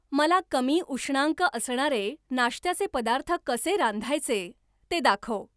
मला कमी उष्णांक असणारे नाश्त्याचे पदार्थ कसे रांधायचे ते दाखव.